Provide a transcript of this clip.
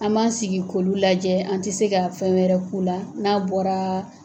An b'an sigi k'olu lajɛ an te se ka fɛn wɛrɛ k'u la n'a bɔraa